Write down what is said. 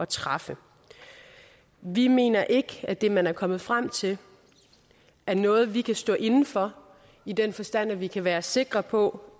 træffe vi mener ikke at det man er kommet frem til er noget vi kan stå inde for i den forstand at vi kan være sikre på